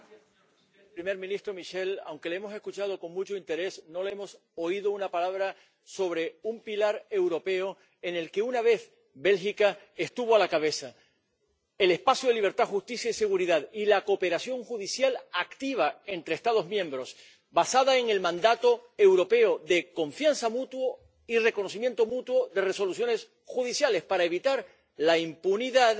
Señor presidente, primer ministro Michel, aunque le hemos escuchado con mucho interés, no le hemos oído una palabra sobre un pilar europeo en el que una vez Bélgica estuvo a la cabeza el espacio de libertad, justicia y seguridad y la cooperación judicial activa entre Estados miembros ―basada en el mandato europeo―, de confianza mutua y reconocimiento mutuo, de resoluciones judiciales, para evitar la impunidad